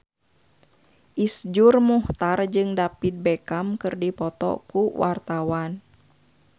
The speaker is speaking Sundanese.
Iszur Muchtar jeung David Beckham keur dipoto ku wartawan